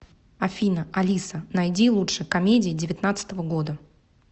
афина алиса найди лучше комедии девятнадцатого года